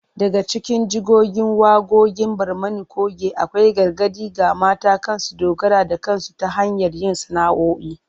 Daga cikin jigogin waqoqin Barmani coge akwai gargadi ga mata kan su dogara da kansu ta hanyar yin sana’’o’i